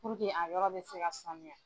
Puruke a yɔrɔ bɛ se ka samuya.